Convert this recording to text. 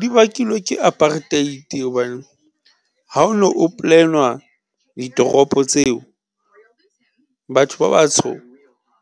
Di bakilwe ke apartheid hobane ha o no ho plan-wa ditoropo tseo, batho ba batsho